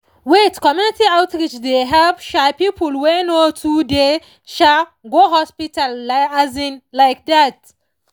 wait community outreach dey help people wey no too dey um go hospital um like that.